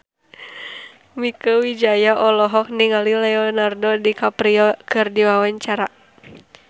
Mieke Wijaya olohok ningali Leonardo DiCaprio keur diwawancara